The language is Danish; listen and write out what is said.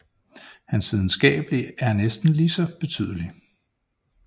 Hans videnskabelige er næsten lige så betydelig